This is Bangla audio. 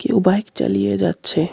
কেউ বাইক চালিয়ে যাচ্ছে.